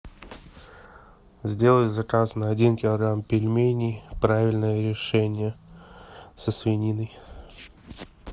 сделай заказ на один килограмм пельменей правильное решение со свининой